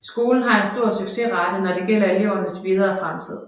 Skolen har en stor succesrate når det gælder elevernes videre fremtid